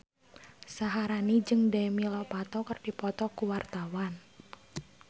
Syaharani jeung Demi Lovato keur dipoto ku wartawan